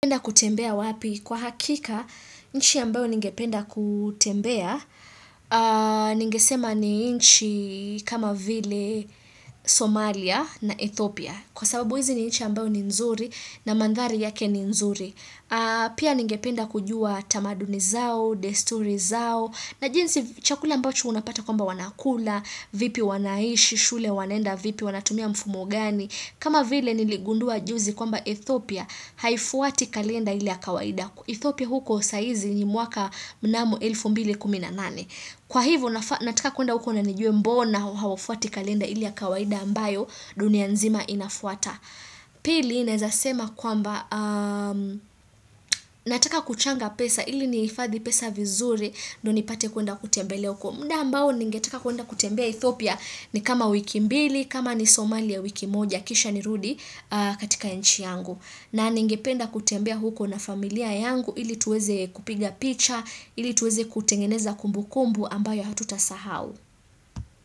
Kutembea wapi kwa hakika, inchi ambayo ningependa kutembea, ningesema ni inchi kama vile Somalia na Ethopia. Kwa sababu hizi ni inchi ambao ni nzuri na mandhari yake ni nzuri. Pia ningependa kujua tamaduni zao, desturi zao, na jinsi chakula ambacho unapata kwamba wanakula, vipi wanaishi, shule wanaenda vipi wanatumia mfumo gani. Kama vile niligundua juzi kwamba Ethopia haifuati kalenda ile ya kawaida. Ethiopia huko saa hizi ni mwaka mnamo elfu mbili kumi na nane. Kwa hivo nataka kuenda huko na nijue mbona hawafuati kalenda ile ya kawaida ambayo dunia nzima inafuata. Pili naweza sema kwamba nataka kuchanga pesa ili nihifadhi pesa vizuri ndio nipate kuenda kutembelea huko. Muda ambao ningeteka kuenda kutembea Ethiopia ni kama wiki mbili, kama ni Somalia wiki moja, kisha nirudi katika inchi yangu. Na ningependa kutembea huko na familia yangu ili tuweze kupiga picha, ili tuweze kutengeneza kumbu kumbu ambayo hatutasahau.